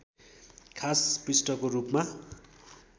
खास पृष्ठको रूपमा